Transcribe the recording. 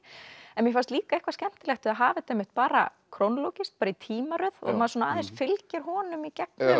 en mér fannst líka eitthvað skemmtilegt að hafa þetta bara bara í tímaröð og maður aðeins fylgir honum í gegnum